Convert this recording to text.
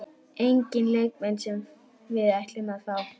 Enginn leikmenn sem við ætlum að fá?